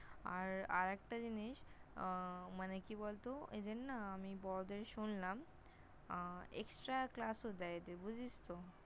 আর আরেকটা জিনিস উম মানে কি বলত এদের না আমি শুনলাম, আহ Extra Class -ও দেয় এদের। বুঝেছিস তো?